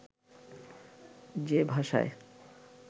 যে ভাষায়